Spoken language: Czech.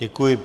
Děkuji.